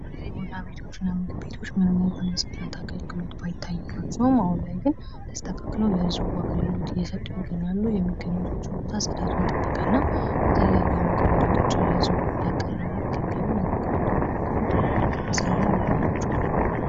የቡና ቤቶች እና ምግብ ቤቶች ምንም እንኳን ንፅህና ባይታይባቸውም አሁን ላይ ግን ተስተካክለው ለህዝቡ አገልግሎት እየሰጡ ይገኛሉ። የሚገኙባቸውም ቦታ ፅዳቱን የጠበቀ ነው። የተለያዩ የምግብ ዓይነቶችን ለህዝቡ እያቀረቡ ይገኛሉ። ነገር ግን አንዳንድ ቦታ ላይ ንጽህና ይጎላቸዋል።